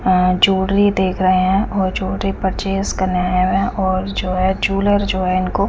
अ jewellery देख रहे है और जूलरी परचेस करने आए हुए है और जो है जुलेर जो है जो --